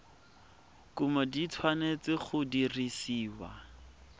kumo di tshwanetse go dirisiwa